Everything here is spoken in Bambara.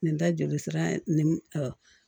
Nin ta jolisira ni